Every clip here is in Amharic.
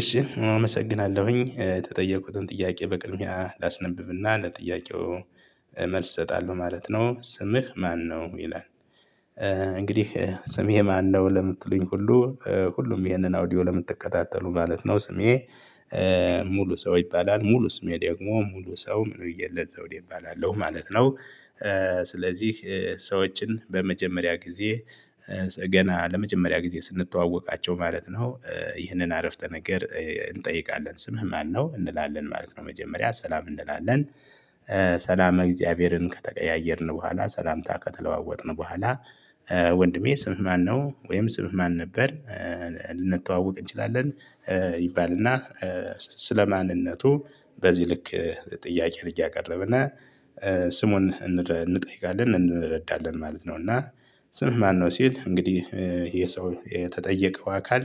እሺ አመሰግናለሁኝ የተጠየቁትን ጥያቄ በቅድሚያ ላስነብብና ለጥያቄው መልስ እሰጣለሁ ማለት ነው። ስምህ ማነው ይላል? እንግዲህ ስሜ ማነው ለምትሉኝ ሁሉ ሁሉም ይሄንን አውዲዮ ለምትከታተሉ ማለት ነው። ስሜ ሙሉ ሰው ይባላል ሙሉ ስሜ ደግሞ ሙሉ ሰው ምን እየለ ዘውዴ እባላለሁ ማለት ነው። ስለዚህ ሰዎችን በመጀመሪያ ጊዜ ገና ለመጀመሪያ ጊዜ ስንተዋወቃቸው ማለት ነው። ይህንን አረፍተ ነገር እንጠይቃለን ስምህ ማነው እንላለን ማለት ነው። መጀመሪያ ሰላም እንላለን። ሰላም እግዚአብሔርን ከተቀያየርን በኋላ ሰላምታ ከተለዋወጥን በኋላ ወንድሜ ስምህ ማነው ወይም ስምህ ማን ነበር? ልንተዋወቅ እንችላለን። ይባልና ስለ ማንነቱ በዚህ ልክ ጥያቄ እያቀረብነ ስሙን እንጠይቃለን እንረዳለን ማለት ነው። እና ስምህ ማነው ሲል እንግዲህ የሰው የተጠየቀው አካል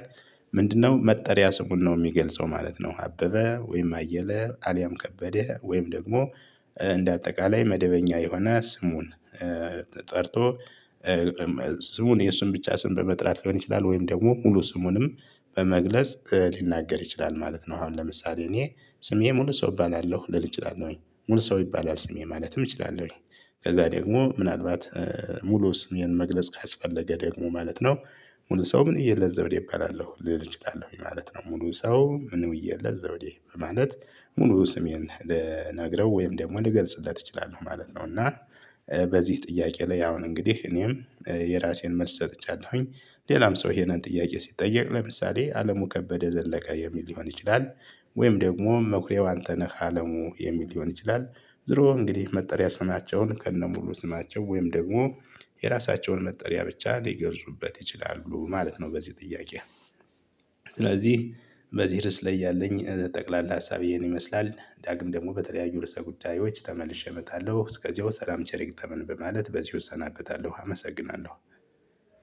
ምንድነው መጠሪያ ስሙን ነው የሚገልጸው ማለት ነው። አበበ ወይም አየለ አሊያም ከበደ ወይም ደግሞ እንደ አጠቃላይ መደበኛ የሆነ ስሙን ጠርቶ ስሙን የእሱን ብቻ ስም በመጥላት ሊሆን ይችላል። ወይም ደግሞ ሙሉ ስሙንም በመግለጽ ሊናገር ይችላል ማለት ነው። አሁን ለምሳሌ እኔ ስሜ ሙሉ ሰው እባላለሁ ልል እችላለሁኝ ሙሉ ሰው ይባላል ስሜ ማለትም እችላለሁኝ። ከዛ ደግሞ ምናልባት ሙሉ ስሜን መግለጽ ካስፈለገ ደግሞ ማለት ነው ሙሉ ሰው ምን ብየለት ዘውዴ ይባላለሁ ልል እችላለሁኝ ማለት ነው። ሙሉ ሰው ምን ብየለት ዘውዴ ማለት ሙሉ ስሜን ልነግረው ወይም ደግሞ ልገልጽለት እችላለሁ ማለት ነው። እና በዚህ ጥያቄ ላይ አሁን እንግዲህ እኔም የራሴን መልስ ሰጥቻለሁኝ። ሌላም ሰው ይሄንን ጥያቄ ሲጠየቅ ለምሳሌ አለሙ ከበደ ዘለቀ የሚል ሊሆን ይችላል። ወይም ደግሞ መኩሪያው አንተነህ አለሙ የሚል ሊሆን ይችላል። ዙሮ እንግዲህ መጠሪያ ስማቸውን ከነሙሉ ስማቸው ወይም ደግሞ የራሳቸውን መጠሪያ ብቻ ሊገልፁበት ይችላሉ ማለት ነው። በዚህ ጥያቄ ስለዚህ በዚህ ርዕስ ላይ ያለኝ ጠቅላላ ሀሳቤ ይህን ይመስላል። ዳግም ደግም በተለያዩ ርዕሰ ጉዳዮች ተመልሼ እመጣለሁ። እስከዚያው ሰላም ቸር ይግጠመን በማለት በዚሁ እሰናበታለሁ። አመሰግናለሁ